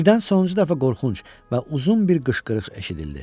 Birdən sonuncu dəfə qorxunc və uzun bir qışqırıq eşidildi.